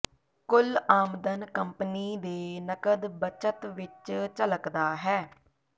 ਕੁੱਲ ਆਮਦਨ ਕੰਪਨੀ ਦੇ ਨਕਦ ਬੱਚਤ ਵਿੱਚ ਝਲਕਦਾ ਹੈ